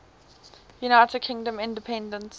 united kingdom independence